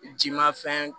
Jimafɛn